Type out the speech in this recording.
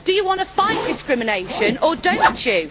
Do you want to fight discrimination or don't you?